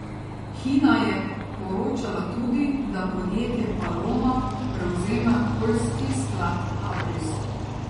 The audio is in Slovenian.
Hina je poročala tudi, da podjetje Paloma prevzema poljski sklad Abris.